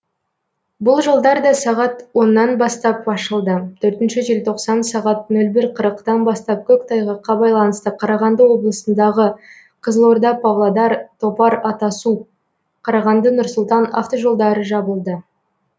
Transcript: бұл жолдар да сағат оннан бастап ашылды төртінші желтоқсан сағат нөл бір қырықтан бастап көктайғаққа байланысты қарағанды облысындағы қызылорда павлодар топар атасу қарағанды нұр сұлтан автожолдары жабылды